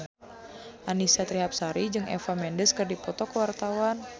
Annisa Trihapsari jeung Eva Mendes keur dipoto ku wartawan